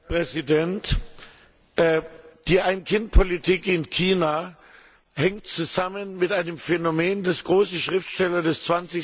Herr Präsident! Die Ein Kind Politik in China hängt zusammen mit einem Phänomen, das große Schriftsteller des